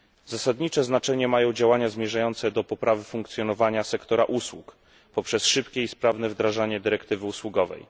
Zasadnicze znaczenie mają działania zmierzające do poprawy funkcjonowania sektora usług poprzez szybkie i sprawne wdrażanie dyrektywy usługowej.